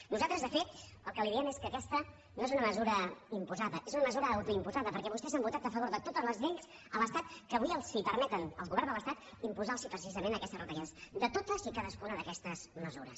nosaltres de fet el que li diem és que aquesta no és una mesura imposada és una mesura autoimposada perquè vostès han votat a favor de totes les lleis de l’estat que avui permeten al govern de l’estat imposar los precisament aquestes retallades de totes i cadascuna d’aquestes mesures